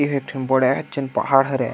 एहा एक ठन बड़ा झन पहाड़ हवे।